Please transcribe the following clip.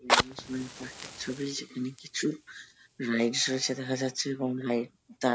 park - টির ছবি যেখানে কিছু রাইডস রয়েছে দেখা যাচ্ছে এবং রাইড -টার--